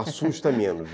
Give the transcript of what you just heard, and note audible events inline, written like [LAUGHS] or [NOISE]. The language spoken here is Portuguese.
[LAUGHS] Assusta menos.